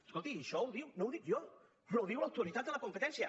escolti això ho diu no ho dic jo ho diu l’autoritat de la competència